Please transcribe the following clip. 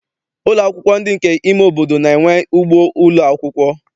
Ụlọ akwụkwọ ndị nke ime obodo na-enwe ugbo ụlọakwụkwọ.